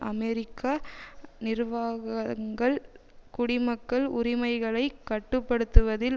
அமெரிக்க நிர்வாகங்கள் குடிமக்கள் உரிமைகளை கட்டு படுத்துவதில்